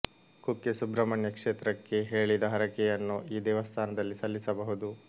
ಕುಕ್ಕೆ ಸುಬ್ರಹ್ಮಣ್ಯ ಕ್ಷೇತ್ರಕ್ಕೆ ಹೇಳಿದ ಹರಕೆಯನ್ನು ಈ ದೇವಸ್ಥಾನದಲ್ಲಿ ಸಲ್ಲಿಸಬಹುದು